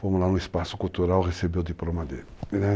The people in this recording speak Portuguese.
Fomos lá no espaço cultural receber o diploma dele.